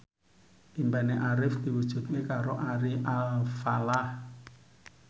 impine Arif diwujudke karo Ari Alfalah